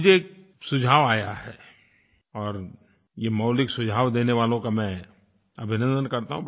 मुझे एक सुझाव आया है और ये मौलिक सुझाव देने वालों का मैं अभिनंदन करता हूँ